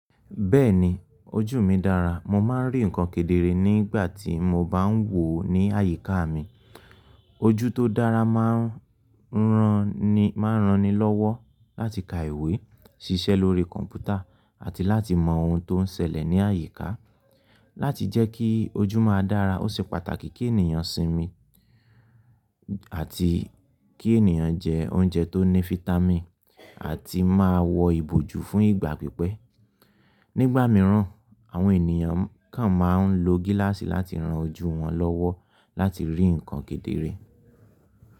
Bẹ́ẹ̀ni, ojú mi dára. Mo máa ń rí ǹkan kedere nígbà tí mo bá ń wò ó ní àyíká mi. Ojú tó dára máa ń rani lọ́wọ́ láti ka ìwé, ṣiṣẹ́ lórí kọ̀ǹpútà, àti láti mọ ohun tó ń ṣẹlẹ̀ ní àyíká. Láti jẹ́ kí ojú máa dára, ó ṣe pàtàkì kí ènìyàn sinmi àti kí ènìyàn jẹ oúnjẹ tó ní fitami àti máa wọ ìbòjú fún ìgbà pípẹ́. Nígbà mìíràn, àwọn ènìyàn kán máa ń lo gíláàsì láti ran ojú wọn lọ́wọ́ láti rí ǹkan kedere.